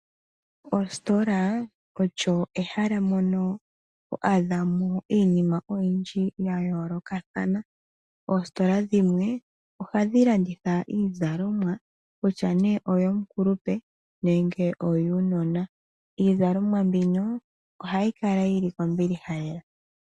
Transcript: Ositola olyo ehala mono ho adha iinima oyindji ya yoolokathana. Oositola dhimwe ohadhi landitha iizalomwa kutya nee oyo mukulupe nenge yuunona. Iizalomwa mbino ohayi kala yi li kombiliha lela.